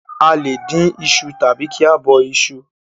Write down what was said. A le dín iṣu tàbi kí a bọ iṣu